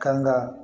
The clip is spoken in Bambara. Kanga